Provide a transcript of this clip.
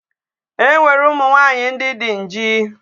E nwere ụmụ nwaanyi ndi di nji.